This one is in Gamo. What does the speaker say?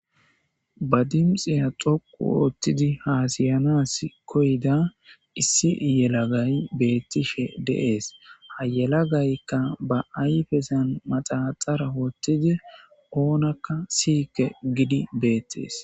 Ba dinixxiya dhoqu oththidi hasayanasi koyida issi yelaagayi betishe deesi haa yelagayikka ba ayifezani manaxara woththidi onakka siyikke gidi betees